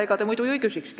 Ega te muidu ju ei küsikski.